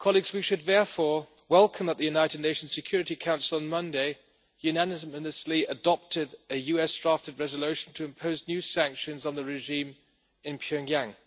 We should therefore welcome that the United Nations Security Council on Monday unanimously adopted a US drafted resolution to impose new sanctions on the regime in Pyongyang.